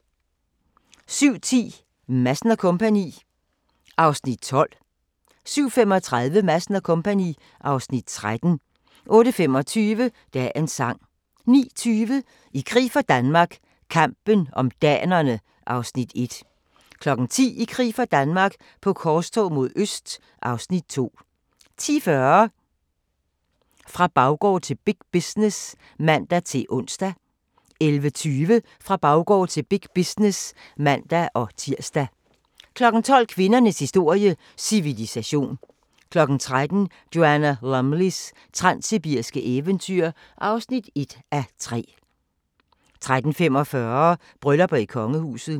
07:10: Madsen & Co. (Afs. 12) 07:35: Madsen & Co. (Afs. 13) 08:25: Dagens sang 09:20: I krig for Danmark - kampen om danerne (Afs. 1) 10:00: I krig for Danmark - på korstog mod øst (Afs. 2) 10:40: Fra baggård til big business (man-ons) 11:20: Fra baggård til big business (man-tir) 12:00: Kvindernes historie - civilisation 13:00: Joanna Lumleys transsibiriske eventyr (1:3) 13:45: Bryllupper i kongehuset